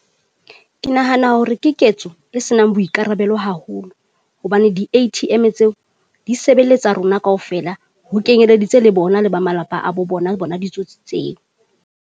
Ke nahana hore ke ketso e senang boikarabelo haholo, hobane di-A_T_M tseo di sebeletsa rona kaofela ho kenyeleditse le bona le ba malapa a bo bona bona ditsotsi tseo.